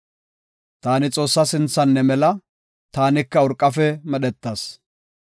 Taani Xoossaa sinthan ne mela; taanika urqafe medhetas.